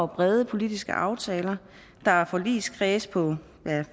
brede politiske aftaler der er forligskredse på